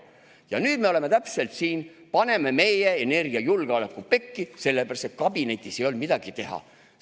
" Ja nüüd me oleme siin ja paneme meie energiajulgeoleku pekki, sellepärast et kabinetis ei olnud midagi teha.